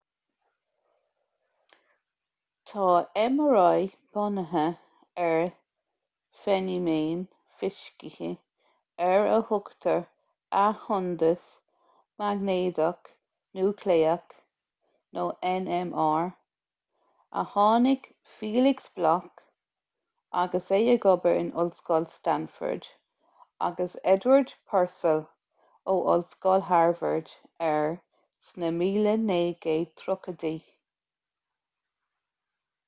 tá mri bunaithe ar feiniméan fisice ar a thugtar athshondas maighnéadach núicléach nmr a tháinig felix bloc agus é ag obair in ollscoil stanford agus edward purcell ó ollscoil harvard air sna 1930idí